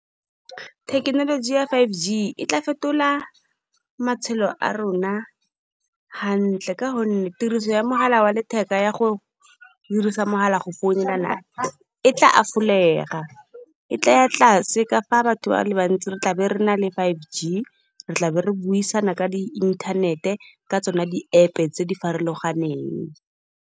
Thekekenoloji ya five G e tla fetola matshelo a rona, hantle ka gonne tiriso ya mogala wa letheka, ya go dirisa mogala go founelana e tla half-olega e tla ya tlase. Ka fa batho ba le bantsi re tlabe re na le five G, re tlabe re buisana ka di inthanete ka tsona di-App tse di farologaneng.